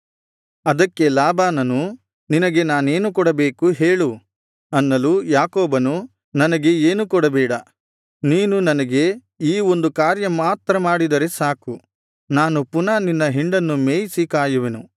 ಅದಕ್ಕೆ ಲಾಬಾನನು ನಿನಗೆ ನಾನೇನು ಕೊಡಬೇಕು ಹೇಳು ಅನ್ನಲು ಯಾಕೋಬನು ನನಗೆ ಏನೂ ಕೊಡಬೇಡ ನೀನು ನನಗೆ ಈ ಒಂದು ಕಾರ್ಯ ಮಾತ್ರ ಮಾಡಿದರೆ ಸಾಕು ನಾನು ಪುನಃ ನಿನ್ನ ಹಿಂಡನ್ನು ಮೇಯಿಸಿ ಕಾಯುವೆನು